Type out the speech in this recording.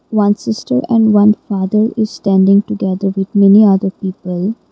one sister and one father is standing together with many other people.